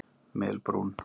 Melbrún